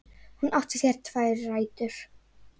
Hún átti sér tvær rætur.